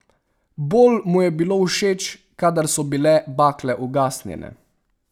Bolj mu je bilo všeč, kadar so bile bakle ugasnjene.